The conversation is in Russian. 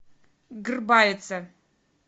грбаеца